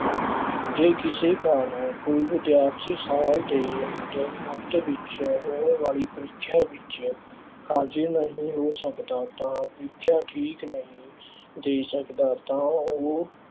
ਜੇ ਕਿਸੇ ਕਾਰਨ ਕੋਈ ਵਿਦਿਆਰਥੀ ਸਾਲ ਦੇ ਅੰਦਰ, ਅੰਤ ਵਿੱਚ ਹੋਣ ਵਾਲੀ ਪ੍ਰੀਖਿਆ ਵਿੱਚ ਹਾਜ਼ਰ ਨਹੀਂ ਹੋ ਸਕਦਾ ਤਾਂ ਪ੍ਰੀਖਿਆ ਠੀਕ ਨਹੀਂ ਦੇ ਸਕਦਾ ਤਾਂ ਉਹ।